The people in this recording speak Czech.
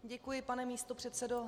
Děkuji, pane místopředsedo.